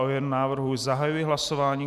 O jeho návrhu zahajuji hlasování.